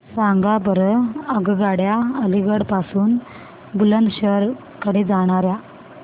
सांगा बरं आगगाड्या अलिगढ पासून बुलंदशहर कडे जाणाऱ्या